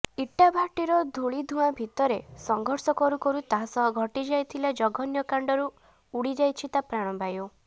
ଇଟାଭାଟିର ଧୂଳିଧୂଆଁ ଭିତରେ ସଂଘର୍ଷ କରୁ କରୁ ତାସହ ଘଟିଯାଇଥିବା ଜଘନ୍ୟକାଣ୍ଡରୁ ଉଡ଼ିଯାଇଛି ତା ପ୍ରାଣବାୟୁ